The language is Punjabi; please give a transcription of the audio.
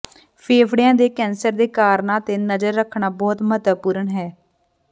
ਫੇਫੜਿਆਂ ਦੇ ਕੈਂਸਰ ਦੇ ਕਾਰਨਾਂ ਤੇ ਨਜ਼ਰ ਰੱਖਣਾ ਬਹੁਤ ਮਹੱਤਵਪੂਰਨ ਹੈ